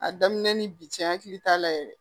A daminɛ ni bi cɛ hakili t'a la yɛrɛ